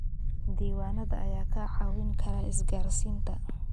Diiwaanada ayaa kaa caawin kara isgaarsiinta.